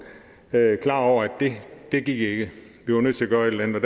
klar over at det gik ikke vi var nødt til at gøre et eller